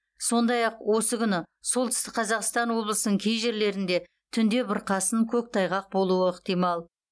сондай ақ осы күні солтүстік қазақстан облысының кей жерлерінде түнде бұрқасын көктайғақ болуы ықтимал